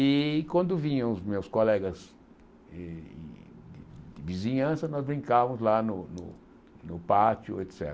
E quando vinham os meus colegas de de vizinhança, nós brincavamos lá no no no pátio, et cétera.